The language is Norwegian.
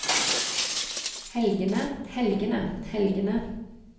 helgene helgene helgene